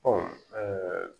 Ɔ